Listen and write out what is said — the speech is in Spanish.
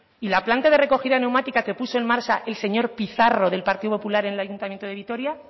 y la planta de recogida neumática que puso en marcha el señor pizarro del partido popular en el ayuntamiento de vitoria